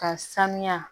Ka sanuya